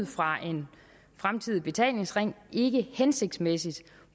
fra en fremtidig betalingsring ikke hensigtsmæssigt